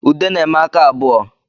Ude na-eme aka abụọ